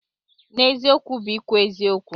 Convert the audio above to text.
N'eziokwu bụ ikwu eziokwu.